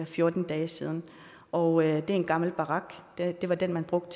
fjorten dage siden og det er en gammel barak det var den man brugte